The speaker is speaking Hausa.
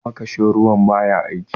makashin ruwan ba ya aiki